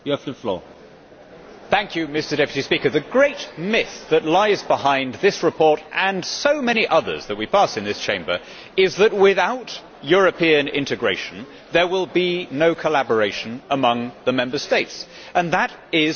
Mr President, the great myth that lies behind this report, and so many others that we pass in this Chamber, is that without European integration there will be no collaboration among the Member States, and that is a false proposition.